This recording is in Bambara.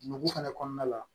Nugu fana kɔnɔna la